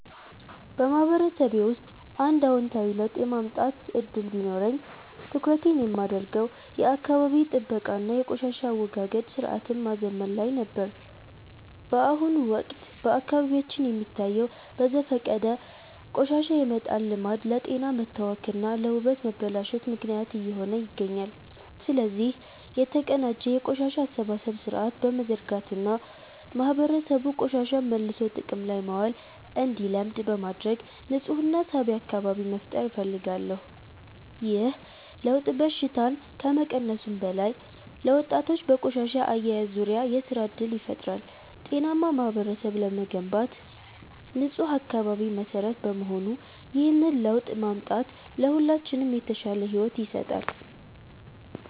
በማህበረሰቤ ውስጥ አንድ አዎንታዊ ለውጥ የማምጣት ዕድል ቢኖረኝ፣ ትኩረቴን የማደርገው የአካባቢ ጥበቃ እና የቆሻሻ አወጋገድ ሥርዓትን ማዘመን ላይ ነበር። በአሁኑ ወቅት በአካባቢያችን የሚታየው በዘፈቀደ ቆሻሻ የመጣል ልማድ ለጤና መታወክ እና ለውበት መበላሸት ምክንያት እየሆነ ይገኛል። ስለዚህ፣ የተቀናጀ የቆሻሻ አሰባሰብ ሥርዓት በመዘርጋት እና ማህበረሰቡ ቆሻሻን መልሶ ጥቅም ላይ ማዋል እንዲለምድ በማድረግ ንፁህና ሳቢ አካባቢ መፍጠር እፈልጋለሁ። ይህ ለውጥ በሽታን ከመቀነሱም በላይ፣ ለወጣቶች በቆሻሻ አያያዝ ዙሪያ የሥራ ዕድል ይፈጥራል። ጤናማ ማህበረሰብ ለመገንባት ንፁህ አካባቢ መሠረት በመሆኑ፣ ይህንን ለውጥ ማምጣት ለሁላችንም የተሻለ ሕይወት ይሰጣል።